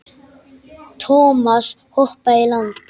Thomas hoppaði í land.